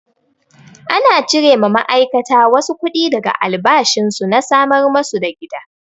Ana cire ma ma'aikata wasu kuɗi daga albashin su na samar masu da gida.